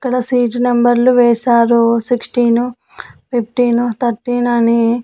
ఇక్కడ సీజ్ నెంబర్లు వేశారు సిక్స్టీన్ ఫిఫ్టీన్ తటీన్ అని.